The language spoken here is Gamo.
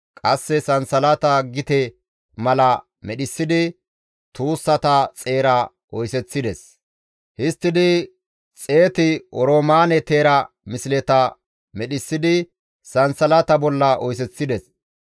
Qasse sansalata gite mala medhissidi tuussata xeera oyseththides; histtidi 100 oroomaane teera misleta medhissidi sansalata bolla oyseththides.